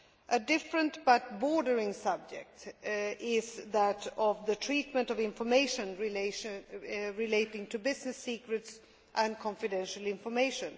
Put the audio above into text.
A different, but related, subject is that of the treatment of information relating to business secrets and confidential information.